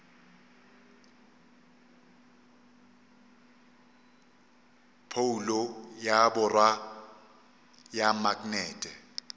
phoulo ya borwa ya maknete